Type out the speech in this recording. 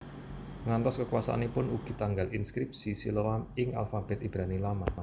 Ngantos kekuasaanipun ugi tanggal inskripsi Siloam ing alfabet Ibrani Lama